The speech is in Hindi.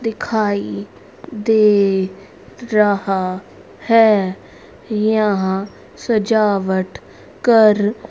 दिखाई दे रहा है। यहां सजावट कर--